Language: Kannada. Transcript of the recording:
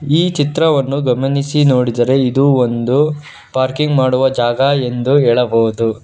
ಈ ಚಿತ್ರವನ್ನು ಗಮನಿಸಿ ನೋಡಿದರೆ ಇದು ಒಂದು ಪಾರ್ಕಿಂಗ್ ಮಾಡುವ ಜಾಗ ಎಂದು ಹೇಳಬಹುದು.